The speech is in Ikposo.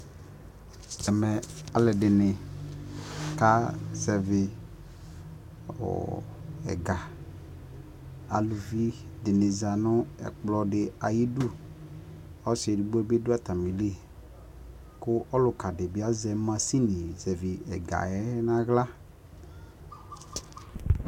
ɛmɛ alʋɛdini ka zɛvi ɛga, alʋvi dini zanʋ ɛkplɔ diayidʋ, ɔsii ɛdigbɔ dibi dʋ atamili kʋ ɔlʋka dibi azɛ mashini zɛvi ɛgaɛ nʋ ala